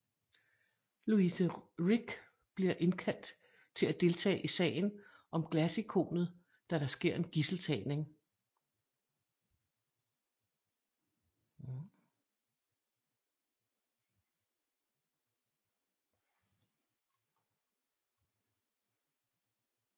Louise Rick bliver indkaldt til at deltage i sagen om glasikonet da der sker en gidseltagning